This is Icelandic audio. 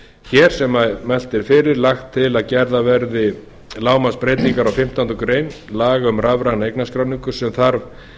hér sem mælt er fyrir lagt til að gerðar verði lágmarksbreytingar á fimmtándu grein laga um rafræna eignarskráningu sem þarf